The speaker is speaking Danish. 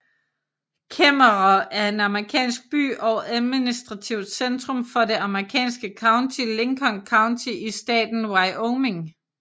Kemmerer er en amerikansk by og administrativt centrum for det amerikanske county Lincoln County i staten Wyoming